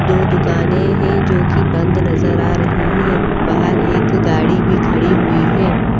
दो दुकाने है जो की बंद नजर आ रही है बाहर एक गाड़ी भी खड़ी हुई है।